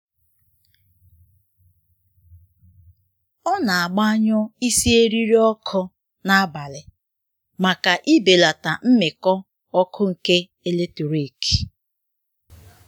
Ọ na-agbanyụ isi eriri ọkụ n'abalị maka ibelata mmikọ ọkụ nke eletrik